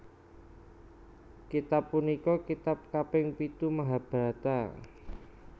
Kitab punika kitab kaping pitu Mahabharata